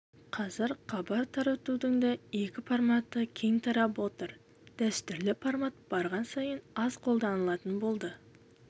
қазір хабар таратудың да екі форматы кең тарап отыр дәстүрлі формат барған сайын аз қолданылатын болды